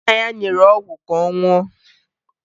Nna ya nyere ọgwụ ka ọ ṅụọ